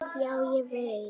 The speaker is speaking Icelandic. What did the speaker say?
Já, ég veit